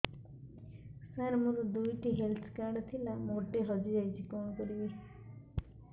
ସାର ମୋର ଦୁଇ ଟି ହେଲ୍ଥ କାର୍ଡ ଥିଲା ଗୋଟେ ହଜିଯାଇଛି କଣ କରିବି